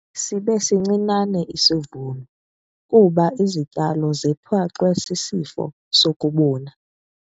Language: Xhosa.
Sibe sincinane isivuno kuba izityalo zethwaxwe sisifo sokubuna.